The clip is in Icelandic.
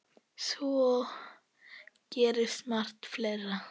Svo gerist margt fleira.